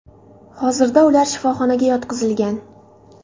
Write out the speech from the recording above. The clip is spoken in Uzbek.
Hozirda ular shifoxonaga yotqizilgan.